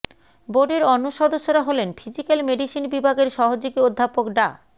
বোর্ডের অন্য সদস্যরা হলেন ফিজিক্যাল মেডিসিন বিভাগের সহযোগী অধ্যাপক ডা